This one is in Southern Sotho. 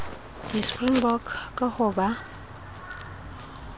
di springbok ka ho ba